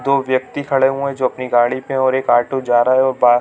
दो व्यक्ति खड़े हुए हैं जो अपनी गाड़ी पे हैं और एक आटू जा रहा है और बा--